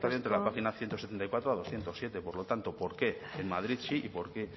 entre la página ciento setenta y cuatro a berrehun eta zazpi eskerrik asko por lo tanto por qué en madrid sí y por qué